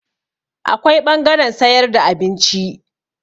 Akwai ɓangaren sayar da abinci.